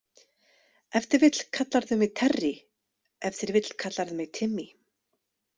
Ef til vill kallarðu mig Terry, ef til vill kallarðu mig Timmy.